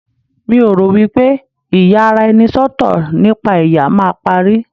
mi o ro wipe iyaraenisọtọ nipa ẹyà ma parí